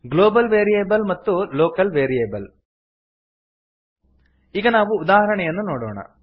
global variable ಮತ್ತು local variable ಈಗ ನಾವು ಉದಾಹರಣೆಯನ್ನು ನೋಡೋಣ